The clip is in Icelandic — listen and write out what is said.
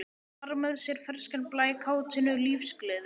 Bar með sér ferskan blæ, kátínu, lífsgleði.